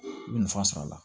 I bɛ nafa sɔr'a la